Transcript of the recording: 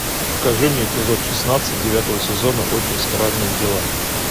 покажи мне эпизод шестнадцать девятого сезона очень странные дела